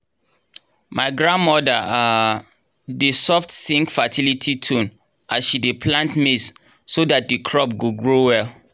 my grandmother um dey soft sing fertility tune as she dey plant maize so that the crop go grow well.